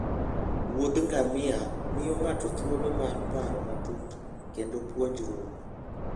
Wuoth ngamia miyo ng'ato thuolo mar paro matut kendo puonjruok.